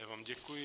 Já vám děkuji.